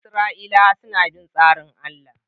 Isra’ilawa suna bin tsarin Allah